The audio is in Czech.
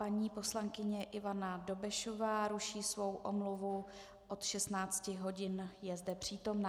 Paní poslankyně Ivana Dobešová ruší svou omluvu od 16 hodin, je zde přítomna.